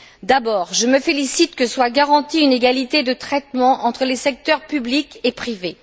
D'abord, je me félicite que soit garantie une égalité de traitement entre les secteurs public et privé.